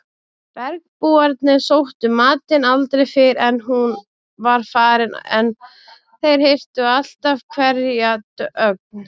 Bergbúarnir sóttu matinn aldrei fyrr en hún var farin en þeir hirtu alltaf hverja ögn.